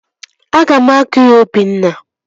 Aga m agụ ya Obinna